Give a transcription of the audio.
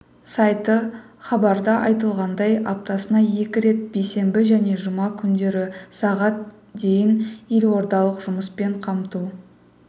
сайты хабарда айтылғандай аптасына екі рет бейсенбі және жұма күндері сағат дейін елордалық жұмыспен қамту